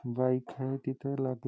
bike आहे तिथं लादे--